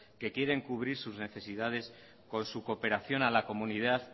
que quieren cubrir sus necesidades con su cooperación a la comunidad